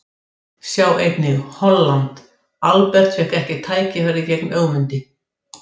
Sjá einnig: Holland: Albert fékk ekki tækifæri gegn Ögmundi